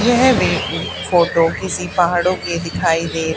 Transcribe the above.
यह फोटो किसी पहाड़ों की दिखाई दे--